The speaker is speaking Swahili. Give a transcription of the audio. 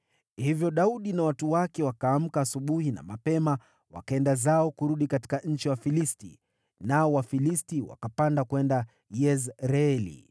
Hivyo Daudi na watu wake wakaamka asubuhi na mapema, wakaenda zao kurudi katika nchi ya Wafilisti, nao Wafilisti wakapanda kwenda Yezreeli.